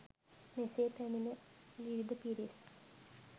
මෙසේ පැමිණි විවිධ පිරිස්